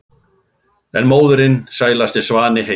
en móðirin sælasti svanni heims